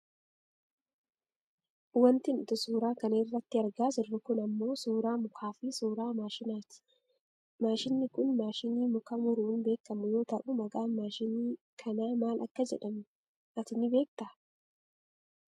Wanti nuti suura kana irratti argaa jirru kun ammoo suuraa mukaafi suuraa maashinaati. Maashiniin kun maashinii muka muruun beekkamu yoo ta'u maqaan maashinii kanaa maal akka jedhamuu at ni beektaa?